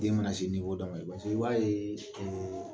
Den mana se dɔ ma i b'a ye